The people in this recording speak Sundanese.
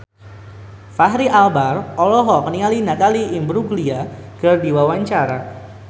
Fachri Albar olohok ningali Natalie Imbruglia keur diwawancara